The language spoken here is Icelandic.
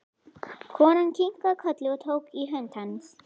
Konan kinkaði kolli og tók í hönd hans.